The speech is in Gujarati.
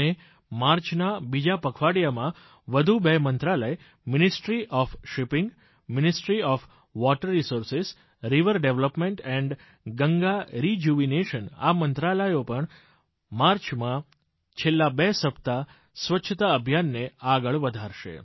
અને માર્ચના બીજા પખવાડિયામાં વધુ બે મંત્રાલય શીપીંગ મંત્રાલય જળ સંસાધન નદી વિકાસ અને ગંગા પુનરુદ્ધાર મંત્રાલય આ મંત્રાલયો પણ માર્ચમાં છેલ્લા બે સપ્તાહ સ્વચ્છતા અભિયાનને આગળ વધારશે